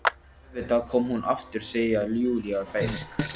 Og auðvitað kom hún aftur, segir Júlía beisk.